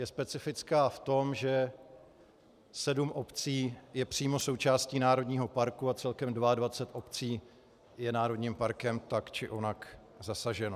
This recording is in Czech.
Je specifická v tom, že sedm obcí je přímo součástí národního parku a celkem 22 obcí je národním parkem tak či onak zasaženo.